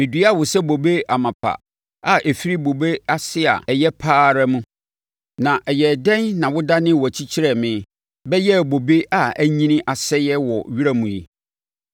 Meduaa wo sɛ bobe amapa a ɛfiri bobe ase a ɛyɛ pa ara mu. Na ɛyɛɛ dɛn na wodanee wʼakyi kyerɛɛ me bɛyɛɛ bobe a anyini asɛeɛ wɔ wura mu yi?